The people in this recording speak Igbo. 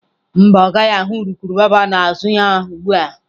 Mba, ọ gaghị ahụ urukurubụba n'azụ ya ugbu a.